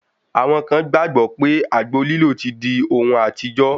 Àwọn kan gbàgbọ́ pé àgbo lílò ti di ohun àtijọ́.